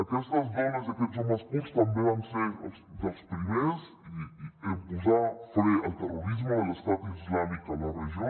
aquestes dones i aquests homes kurds també van ser dels primers en posar fre al terrorisme de l’estat islàmic a la regió